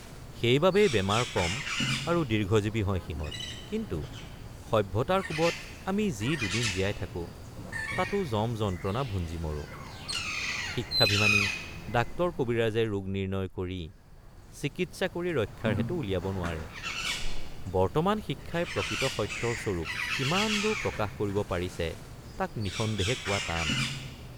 সেইবাবেই বেমাৰ কম আৰু দীৰ্ঘজীৱী হয় সিহঁত কিন্তু সভ্যতাৰ কোবত আমি যি দুদিন জীয়াই থাকেঁ৷ তাতো যমযন্ত্ৰণা ভুঞ্জি মৰে৷ শিক্ষাভিমানী ডাক্তৰকবিৰাজে ৰোগ নিৰ্ণয় কৰি চিকিৎসা কৰি ৰক্ষাৰ হেতু উলিয়াব নোৱাৰে৷ বৰ্তমান শিক্ষাই প্ৰকৃত সত্যৰ স্বৰূপ কিমানদূৰ প্ৰকাশ কৰিব পাৰিছে তাক নিঃসন্দেহে কোৱ৷ টান ।